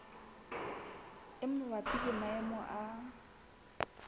e mabapi le maemo a